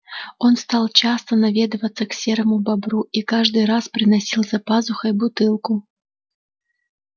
он стал часто наведываться к серому бобру и каждый раз приносил за пазухой бутылку